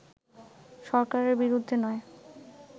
সরকারের বিরুদ্ধে নয়